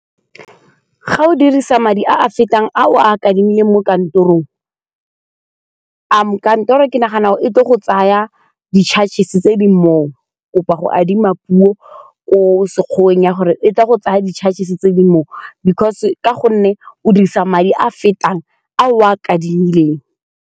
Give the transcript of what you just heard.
Ga o dirisa madi a a fetang a o a kadimileng mo kantorong, kantoro ke nagana e tle go tsaya di-charges tse di moo go adima puo ko Sekgiweng ya gore e tla go tsaya di-charges tse di moo because ka gonne o dirisa madi a fetang a o a kadimileng.